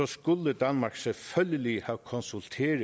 skulle danmark selvfølgelig have konsulteret